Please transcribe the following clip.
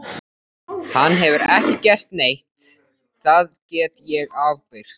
Hann hefur ekki gert neitt, það get ég ábyrgst.